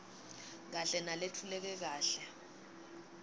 kahle naletfuleke kahle